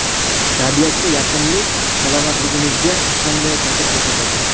Tabiatga yaqinlik salomatligimizga qanday ta’sir ko‘rsatadi?.